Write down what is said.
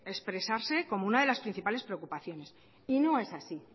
expresarse como una de las principales preocupaciones y no es así